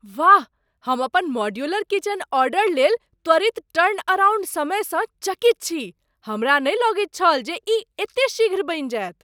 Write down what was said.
वाह! हम अपन मॉड्यूलर किचन ऑर्डरलेल त्वरित टर्नअराउंड समय सँ चकित छी। हमरा नहि लगैत छल जे ई एते शीघ्र बनि जायत।